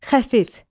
Xəfif.